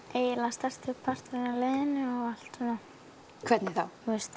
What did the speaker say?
stærsti parturinn af liðinu hvernig þá